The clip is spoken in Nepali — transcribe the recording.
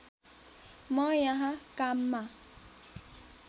म यहाँ काममा